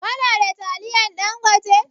Ka na da taliyan Ɗangote?